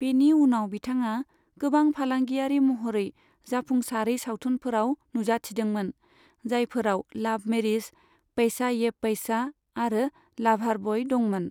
बेनि उनाव बिथाङा गोबां फालांगियारि महरै जाफुंसारै सावथुनफोराव नुजाथिदोंमोन, जायफोराव लाभ मेरिज, पैसा ये पैसा आरो लाभार बय दंमोन।